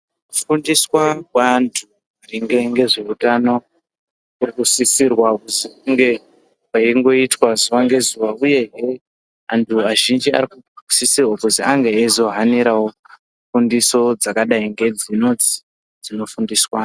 Kufundiswa kweantu maringe ngezveutano kurikusisirwa kuti kunge kweingoitwa zuwa ngezuwa uyehe anhu azhinji arikusisirwa kuti ange eizohanirawo fundiso dzakadai ngedzinodzi dzinofundiswa anhu.